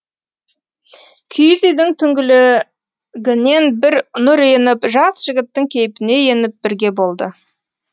киіз үйдің түңлігінен бір нұр еніп жас жігіттің кейпіне еніп бірге болды